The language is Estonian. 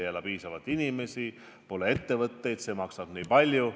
Pole piisavalt elanikke, pole ettevõtteid, see maksab nii palju.